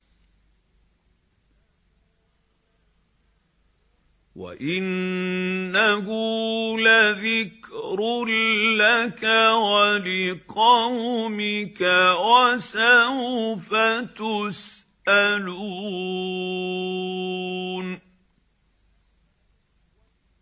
وَإِنَّهُ لَذِكْرٌ لَّكَ وَلِقَوْمِكَ ۖ وَسَوْفَ تُسْأَلُونَ